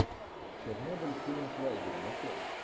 чернобыль с тилем швайгером открой